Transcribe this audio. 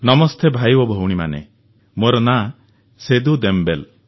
ନମସ୍ତେ ଭାଇ ଓ ଭଉଣୀମାନେ ମୋର ନାଁ ସେଦୁ ଦେମବେଲେ